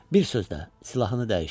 Bir sözlə silahını dəyişdi.